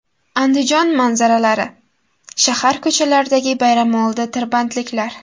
Andijon manzaralari: Shahar ko‘chalaridagi bayramoldi tirbandliklar.